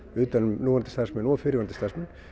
utan um núverandi starfsmenn og fyrrverandi starfsmenn